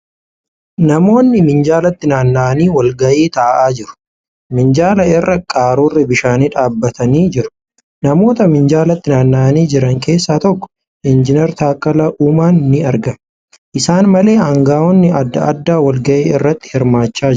Namoonni minjaalatti naanna'anii walga'ii taa'aa jiru. Minjaala irra qaruurri bishaanii dhaabbatanii jiru. Namoota minjaalatti naanna'anii jiran keessaa tokko Injinar Taakkala Uumaan ni argama. Isaan malee aangaa'onni adda addaa walga'ii irratti hirmaachaa jiru.